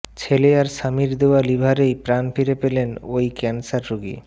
ছেলে আর স্বামীর দেওয়া লিভারেই প্রাণ ফিরে পেলেন এই ক্যানসার রোগী